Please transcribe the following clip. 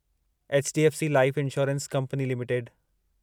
HDFC life insurance company limited